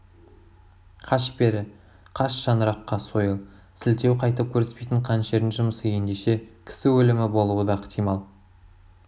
қаш бері қаш шаңыраққа сойыл сілтеу қайтып көріспейтін қанішердің жұмысы ендеше кісі өлімі болуы да ықтимал